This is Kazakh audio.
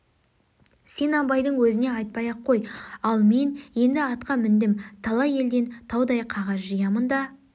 сен абайдың өзіне айтпай-ақ қой ал мен енді атқа міндім талай елден таудай қағаз жиямын да